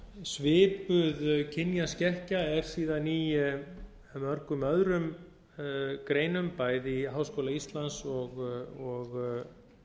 svipuð kynjaskekkja er síðan í mörgum öðrum greinum bæði í háskóla íslands og